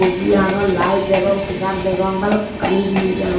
buji agon laet degong segar degong balokkani jinis degong.